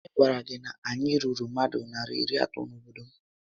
Onye gwara gị na anyị ruru mmadụ narị iri atọ na-obodo m?